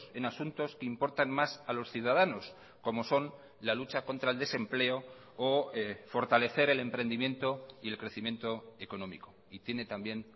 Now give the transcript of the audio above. en asuntos que importan más a los ciudadanos como son la lucha contra el desempleo o fortalecer el emprendimiento y el crecimiento económico y tiene también